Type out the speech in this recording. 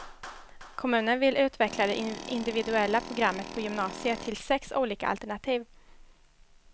Kommunen vill utveckla det individuella programmet på gymnasiet till sex olika alternativ.